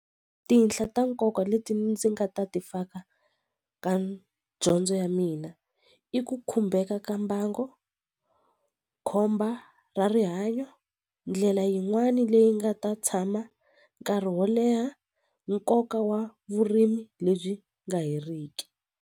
Tinhla ta nkoka leti ndzi nga ta ti faka ka dyondzo ya mina i ku khumbeka ka mbango khomba ra rihanyo ndlela yin'wani leyi nga ta tshama nkarhi wo leha nkoka wa vurimi lebyi nga heriki.